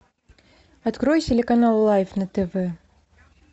открой телеканал лайф на тв